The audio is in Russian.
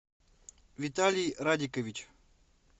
виталий радикович